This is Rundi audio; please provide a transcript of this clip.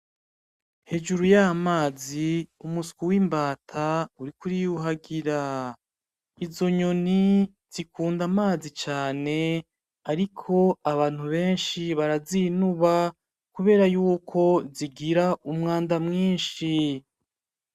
Hejuru y'amazi umuswi w'imbata uriko uriyuhagira, izo nyoni zikunda amazi cane ariko abantu benshi barazinuba kubera yuko zigira umwanda mwinshi .